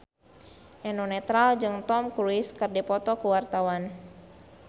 Eno Netral jeung Tom Cruise keur dipoto ku wartawan